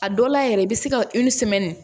A dɔ la yɛrɛ i bɛ se ka